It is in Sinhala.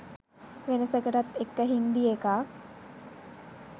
වෙනසකටත් එක්ක හින්දි එකක්